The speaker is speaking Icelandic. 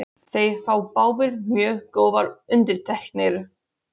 Þeir fá báðir mjög góðar undirtektir.